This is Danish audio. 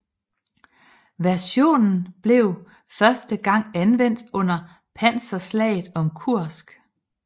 Versionen blev første gang anvendt under panserslaget om Kursk